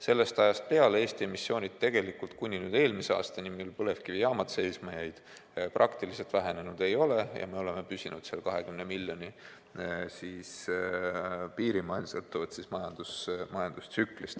Sellest ajast peale kuni eelmise aastani, mil põlevkivijaamad seisma jäid, Eesti emissioon praktiliselt vähenenud ei ole ja me oleme püsinud 20 miljoni piirimail sõltuvalt majandustsüklist.